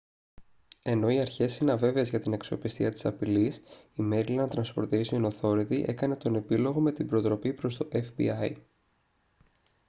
ενώ οι αρχές είναι αβέβαιες για την αξιοπιστία της απειλής η maryland transportation authority έκανε τον επίλογο με την προτροπή προς το fbi